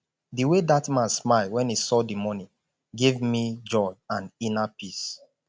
the way dat man smile wen he saw the money give me joy and inner peace